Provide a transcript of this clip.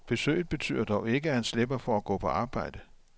Besøget betyder dog ikke, at han slipper for at gå på arbejde.